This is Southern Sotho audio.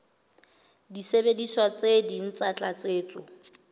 disebediswa tse ding tsa tlatsetso